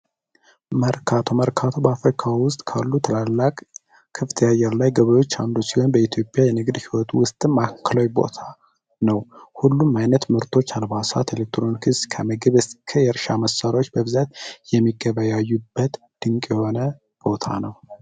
መርካቶ መርካቶ አፍሪካ ውስጥ ካሉ ትላላችሁ አየር ላይ ገብሩ ሲሆን በኢትዮጵያ የንግድ ህይወት ውስጥ ማእከላዊ ቦታ ነው ሁሉም አይነት ምርቶች አድባራት የሚገባ ያዩበት ድንቅ የሆነ ቦታ ነው